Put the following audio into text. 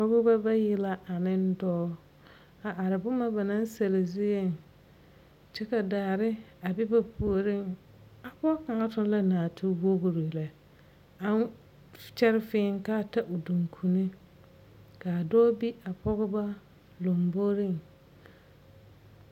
Pɔgebɔ bayi la ane dɔɔ, a are bomɔ ba naŋ sɛle zieŋ kyɛ ka daare a be ba puoriŋ. A pɔge kaŋa toŋ la naatewogri lɛ aŋ kyɛr fẽẽ k'a ta o duŋkunni. K'a dɔɔ be a pɔgeba lomboriŋ.